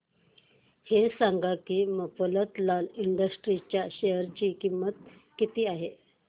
हे सांगा की मफतलाल इंडस्ट्रीज च्या शेअर ची किंमत किती आहे